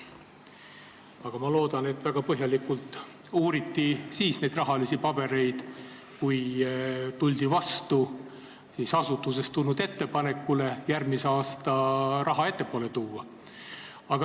Aga ma loodan, et väga põhjalikult uuriti rahalisi pabereid, kui tuldi vastu asutusest tulnud ettepanekule järgmise aasta raha ettepoole tuua.